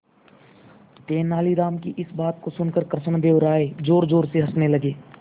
तेनालीराम की इस बात को सुनकर कृष्णदेव राय जोरजोर से हंसने लगे